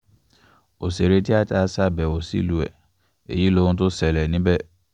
ọ̀sẹ̀rẹ̀ tíata yìí ṣàbẹ̀wò sílùú ẹ̀ èyí lohun tó ṣẹlẹ̀ níbẹ̀